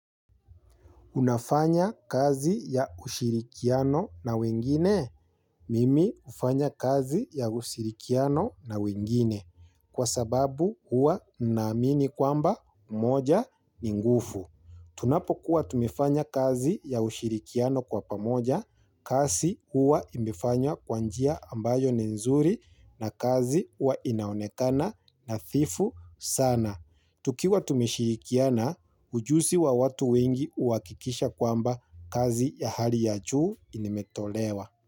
Unafanya kazi ya ushirikiano na wengine, mimi hufanya kazi ya ushirikiano na wengine, kwa sababu hua naamini kwamba moja ni ngeufu. Tunapo kuwa tumefanya kazi ya ushirikiano kwa pamoja, kazi hua imefanywa kwa njia ambayo ni nzuri na kazi hua inaonekana nathifu sana. Tukiwa tumeshilikiana, ujuzi wa watu wengi huhakikisha kwamba kazi ya hali ya juu imetolewa.